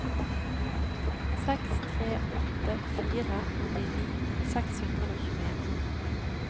seks tre åtte fire åttini seks hundre og tjueen